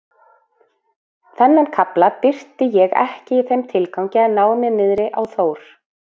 Þennan kafla birti ég ekki í þeim tilgangi að ná mér niðri á Þór